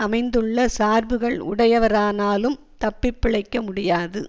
அமைந்துள்ள சார்புகள் உடையவரானாலும் தப்பி பிழைக்க முடியாது